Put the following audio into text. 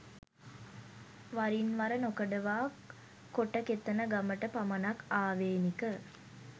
වරින්වර නොකඩවා කොටකෙතන ගමට පමණක් ආවේනික